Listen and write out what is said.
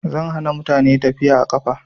Zan hana mutane tafiya a ƙafa